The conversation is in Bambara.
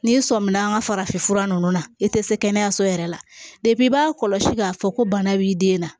N'i sɔmina an ka farafin fura nunnu na i te se kɛnɛyaso yɛrɛ la i b'a kɔlɔsi k'a fɔ ko bana b'i den na